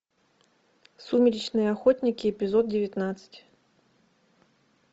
сумеречные охотники эпизод девятнадцать